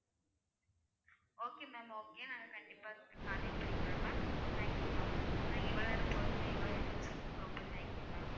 Okay ma'am okay நாங்க கண்டிப்பா contact பண்ணிக்கிறோம் ma'am thank you ma'am இவ்ளோ நேரம் பொறுமையா இவ்ளோ எடுத்து சொன்னதுக்கு ரொம்ப thanks ma'am.